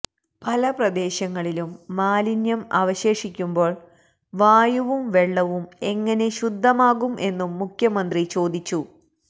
പല പ്രദേശങ്ങളിലും മാലിന്യം അവശേഷിക്കുമ്പോള് വായുവും വെള്ളവും എങ്ങനെ ശുദ്ധമാകുംമെന്നും മുഖ്യമന്ത്രി ചോദിച്ചു